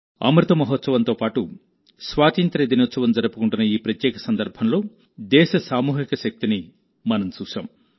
అమృత మహోత్సవంతో పాటు స్వాతంత్ర్య దినోత్సవం జరుపుకుంటున్న ఈ ప్రత్యేక సందర్భంలో దేశ సామూహిక శక్తిని మనం చూశాం